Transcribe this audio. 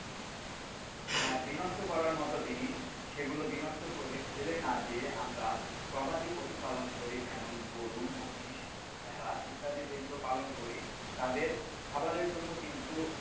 বিনষ্ট করার মতো জিনিস সেগুলো বিনষ্ট করে ফেলে না দিয়ে আমরা গবাদি পশু পালন করি, যেমন-গরু, মহিষ, ভেড়া ইত্যাদি যেগুলো পালন করি তাদের খাবারের জন্য কিন্তু,